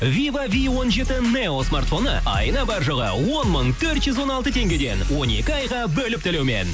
вива ви он жеті нео смартфоны айына бар жоғы он мың төрт жүз он алты теңгеден он екі айға бөліп төлеумен